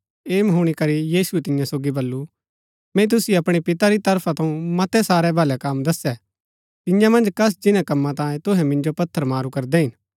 ऐह हूणी करी यीशुऐ तियां सोगी बल्लू मैंई तुसिओ अपणै पितै री तरफा थऊँ मतै सारै भलै कम दस्सै तियां मन्ज कस जिन्‍नै कम्मा तांयें तुहै मिन्जो पत्थर मारू करदै हिन